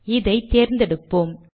இதை தேர்ந்தெடுப்போம்